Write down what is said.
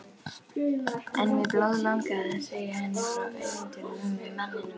En mig blóðlangar að segja henni frá ævintýrinu með manninum.